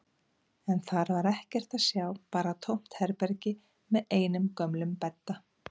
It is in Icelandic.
En þar var ekkert að sjá, bara tómt herbergi með einum gömlum bedda.